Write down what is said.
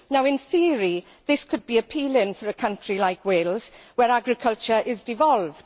In theory this could be appealing for a country like Wales, where agriculture is devolved.